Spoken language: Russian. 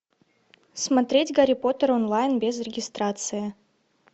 смотреть гарри поттер онлайн без регистрации